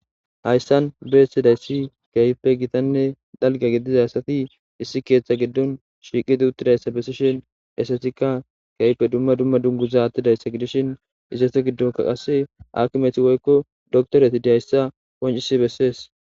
hayssan beestidayssi kaype gitanne dhalga gidizasati issi keeththa giddon shiiqidi uttidayssa bessishin esetikka keype dumma dumma dunguza attidayssa gidishin izete giddonka qase akimeti woykko doktoreti diayssa wancisi bessees